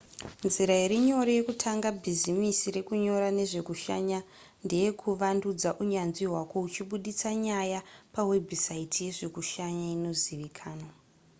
nzira iri nyore yekutanga bhizimisi rekunyora nezvekushanya ndeyekuvandudza unyanzvi hwako uchibudisa nyaya pawebhusaiti yezvekushanya inozivikanwa